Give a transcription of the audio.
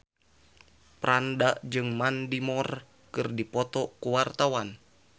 Franda jeung Mandy Moore keur dipoto ku wartawan